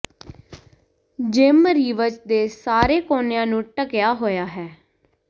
gym Reeves ਦੇ ਸਾਰੇ ਕੋਨਿਆਂ ਨੂੰ ਢੱਕਿਆ ਹੋਇਆ ਹੈ